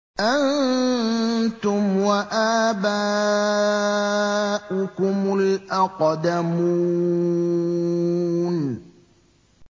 أَنتُمْ وَآبَاؤُكُمُ الْأَقْدَمُونَ